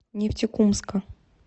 нефтекумска